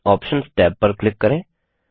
options tab पर click करें